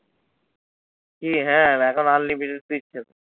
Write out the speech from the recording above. কি হ্যাঁ এখন unlimited দিচ্ছে তো।